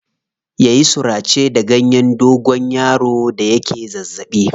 Ya yi surace da ganyen dogonyaro da yake zazzaɓi.